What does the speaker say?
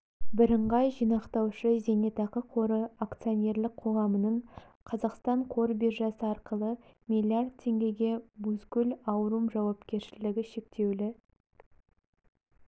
бірыңғай жинақтаушы зейнетақы қоры акционерлік қоғамының қазақстан қор биржасы арқылы млрд теңгеге бузгул аурум жауапкершілігі шектеулі